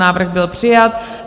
Návrh byl přijat.